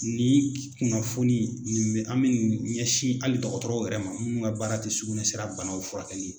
Ni kunnafoni nin bɛ an ɲɛsin hali dɔgɔtɔrɔw yɛrɛ ma mun ka baara tɛ sugunɛ sira banaw furakɛli ye.